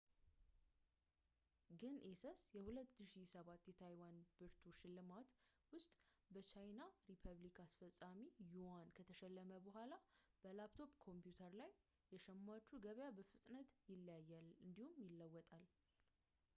ግን ኤሰስ የ2007 የታይዋን ብርቱ ሽልማት ውስጥ በየቻይና ሪፐብሊክ አስፈፃሚ ዩዋን ከተሸለመ በኋላ በላፕቶፕ ኮምፒውተር ላይ የሸማቹ ገበያ በፍጥነት ይለያያል እንዲሁም ይለወጣል